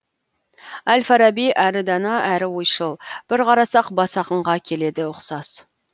әл фараби әрі дана әрі ойшыл бір қарасақ бас ақынға келеді ұқсас